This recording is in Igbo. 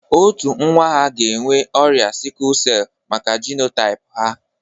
Otu nwa ha ga-enwe ọrịa sikul sell maka jenotaịp ha.